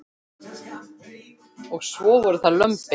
Og svo voru það lömbin.